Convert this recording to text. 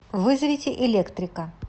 вызовите электрика